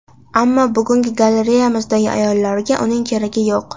Ammo bugungi galereyamizdagi ayollarga uning keragi yo‘q.